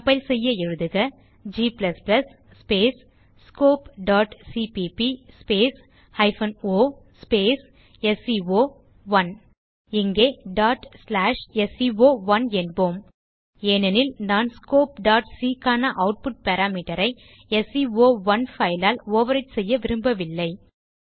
compile செய்ய எழுதுக g scopeசிபிபி o ஸ்கோ1 இங்கே sco1 என்போம் ஏனெனில் நான் scopeசி க்கான ஆட்புட் பாராமீட்டர் ஐ ஸ்கோ1 பைல் ஆல் ஓவர் விரைட் செய்ய விரும்பவில்லை